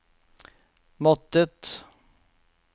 måttet